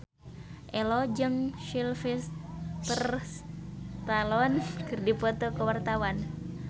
Ello jeung Sylvester Stallone keur dipoto ku wartawan